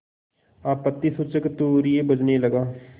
आपत्तिसूचक तूर्य बजने लगा